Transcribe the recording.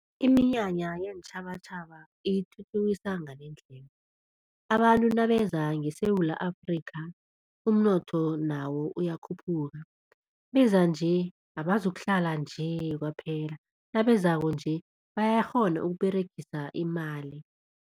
Iminyanya yeentjhabatjhaba iyithuthukisa ngalendlela, abantu nabeza ngeSewula Afrikha umnotho nawo uyakhuphuka beza nje abazokuhlala nje kwaphela nabezako nje bayakghona ukUberegisa imali.